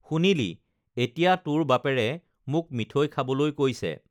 শুনিলি এতিয়া তোৰ বাপেৰে মোক মিঠৈ খাবলৈ কৈছে